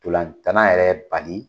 Ntolantana yɛrɛ bali